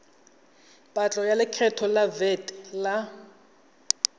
patlo ya lekgetho vat la